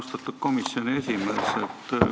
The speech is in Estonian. Austatud komisjoni esimees!